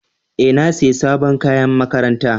E, na sayi sabon kayan makaranta.